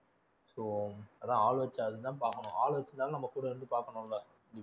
so அதான் ஆள் வச்சு அதுதான் பாக்கணும் ஆள் வெச்சிருந்தாலும் நம்ம கூட இருந்து பாக்கணும் இல்ல